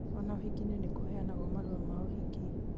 ona ũhikinĩ no kũheyanagwo marũa ma ũhiki